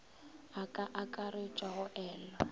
e ka akaretša go elwa